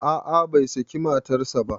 A'a bai saki matarsa ba